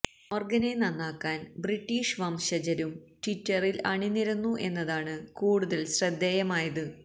മോർഗനെ നന്നാക്കാൻ ബ്രിട്ടീഷ് വംശജരും ട്വിറ്ററിൽ അണിനിരന്നു എന്നതാണ് കൂടുതൽ ശ്രദ്ധേയമായത്